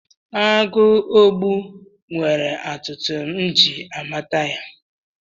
Agụogbu nwere atụtụ m amata ya.